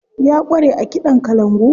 Ya ƙware a kiɗan kalangu.